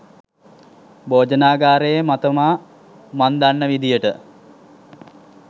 භෝජනාගාරයේ මතමා මං දන්න විදියට